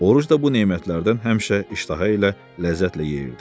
Oruc da bu nemətlərdən həmişə iştaha ilə ləzzətlə yeyirdi.